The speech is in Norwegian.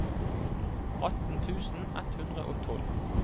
atten tusen ett hundre og tolv